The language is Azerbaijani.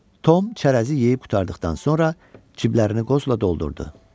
Tom çərəzi yeyib qurtardıqdan sonra ciblərini qozla doldurdu.